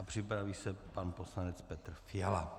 A připraví se pan poslanec Petr Fiala.